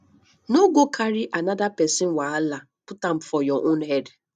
no go carry anoda pesin wahala put am for your own head